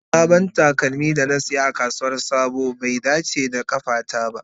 Sabon takalmin da na saya a kasuwar sabo bai dace da kafata ba.